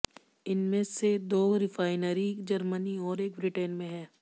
इनमें से दो रिफाइनरी जर्मनी और एक ब्रिटेन में है